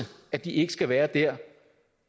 at de ikke skal være der